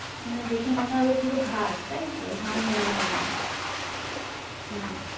মানে দেখে মনে হবে পুরো ঘাস তাই তো? ধান মনে হবে না হম